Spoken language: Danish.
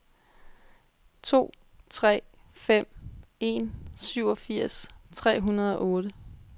to tre fem en syvogfirs tre hundrede og otte